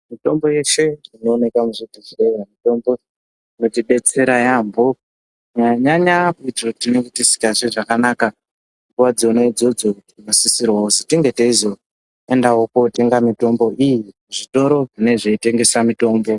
Mitombo yeshe inoonekwa muzvibhedhlera inotidetsera yambo kunyanyanyanya petinenge tisinganzwi zvakanaka nguwa dzona idzodzo anosisirwa kunge tinge teizoenda Kunotenga mitombo iyi kuzvitoro zvinotengeswa mitombo.